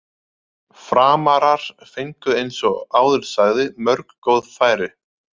Framarar fengu eins og áður sagði mörg góð færi.